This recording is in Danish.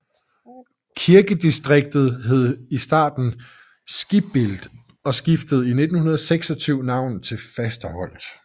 Kirkedistriktet hed i starten Skibbild og skiftede i 1926 navn til Fasterholt